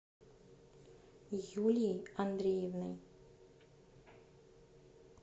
юлией андреевной